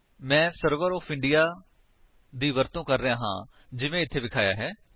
ਮੈਂ server for India ਦੀ ਵਰਤੋ ਕਰ ਰਿਹਾ ਹਾਂ ਜਿਵੇਂ ਇੱਥੇ ਵਿਖਾਇਆ ਹੈ